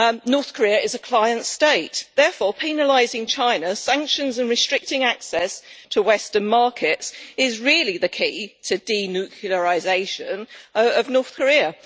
North Korea is a client state, so penalising China, imposing sanctions and restricting access to Western markets is really the key to the denuclearisation of North Korea.